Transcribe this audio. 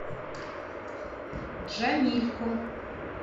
джамильку